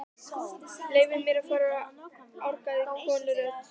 Leyfið mér að fara orgaði konurödd.